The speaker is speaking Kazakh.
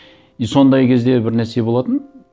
и сондай кезде бір нәрсе болатын